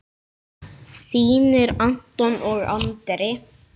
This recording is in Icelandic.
Þínir Anton og Andri.